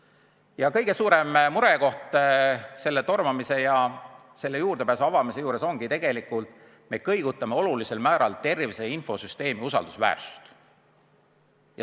Ja kõige suurem murekoht selle tormamise ja selle juurdepääsu avamise puhul ongi tegelikult see, et me kõigutame olulisel määral tervise infosüsteemi usaldusväärsust.